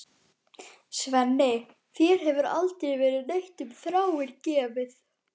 Svenni, þér hefur aldrei verið neitt um Þráin gefið.